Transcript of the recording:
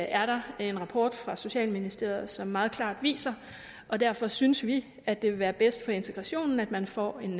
er der en rapport fra socialministeriet som meget klart viser og derfor synes vi at det vil være bedst for integrationen at man får en